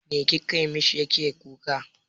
Me kika mishi yake kuka?